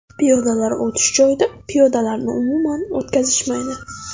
Piyodalar o‘tish joyida piyodalarni umuman o‘tkazishmaydi.